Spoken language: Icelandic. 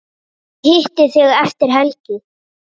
Ég hitti þig eftir helgi.